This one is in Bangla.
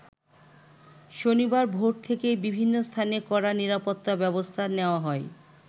শনিবার ভোর থেকেই বিভিন্ন স্থানে কড়া নিরাপত্তা ব্যবস্থা নেয়া হয়।